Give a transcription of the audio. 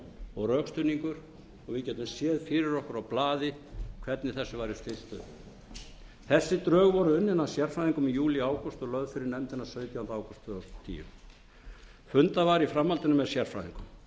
og rökstuðningur og við gætum séð fyrir okkur á blaði hvernig þessu væri stillt upp þessi drög voru unnin af sérfræðingum í júlí ágúst og lögð fyrir nefndina sautjánda ágúst tvö þúsund og tíu fundað var í framhaldinu með sérfræðingum